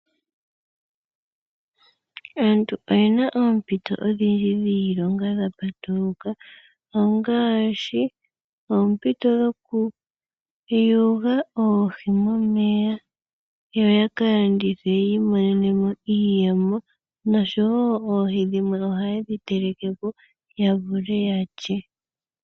Aantu oyena oompito odhindji dhiilonga dha patuluka ongaashi oompito dhoku yoga oohi momeya, yo yaka landithe yi imonenemo iiyemo nosho woo oohi dhimwe oha yedhi telekepo ya vule ya lye.